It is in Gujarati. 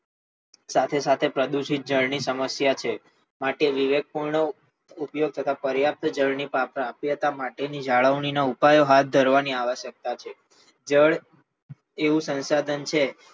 સાથે સાથે પ્રદૂષિત જળની સમસ્યા પણ છે માટે વિવેક પૂર્ણ ઉપયોગ થતાં પર્યાપ્ત જળની પ્રાપ્યતા માટે જાળવણી ના ઉપાયો માર્ગ ધરવાની આવશ્યકતા છે જળ એવું સંસાધન છે